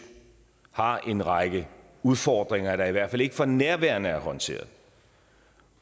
har en række udfordringer der i hvert fald ikke for nærværende er håndteret